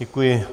Děkuji.